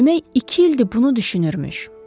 Demək iki ildir bunu düşünürmüş.